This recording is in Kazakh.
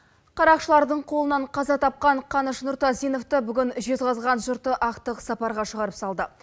қарақшылардың қолынан қаза тапқан қаныш нұртазиновты бүгін жезқазған жұрты ақтық сапарға шығарып салды